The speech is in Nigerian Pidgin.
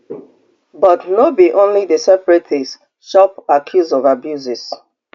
but no be only di separatists chop accuse of abuses